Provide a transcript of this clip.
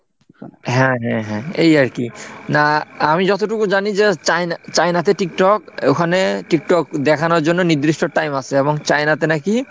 হ্যাঁ হ্যাঁ হ্যাঁ এই আর কি না আমি যতটুকু জানি যে চায়না চায়নাতে tiktok ওখানে tiktok দেখানোর জন্য নির্দিষ্ট time আছে এবং চায়নাতে নাকি।